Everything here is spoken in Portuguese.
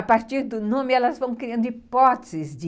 A partir do nome, elas vão criando hipóteses de...